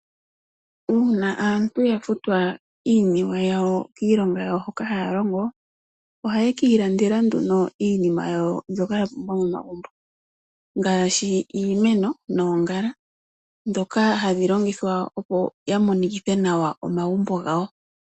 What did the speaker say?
Uuna aantu ya futwa iiniwe yawo kiilonga yawo hoka ha ya longo, oha ye ki ilandela nduno iinima yawo, mbyoka ya pumbwa momagumbo, ngaashi iimeno noongala, ndhoka hadhi longithwa opo ya monikithe nawa omagumbo gawo.